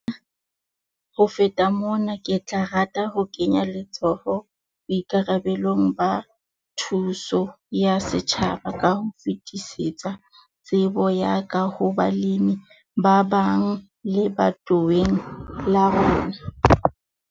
Ho feta mona, ke tla rata ho kenya letsoho boikarabelong ba thuso ya setjhaba ka ho fetisetsa tsebo ya ka ho balemi ba bang lebatoweng la rona.